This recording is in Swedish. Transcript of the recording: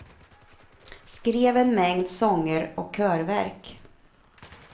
Skrev en mängd sånger och körverk.